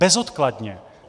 Bezodkladně.